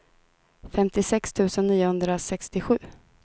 femtiosex tusen niohundrasextiosju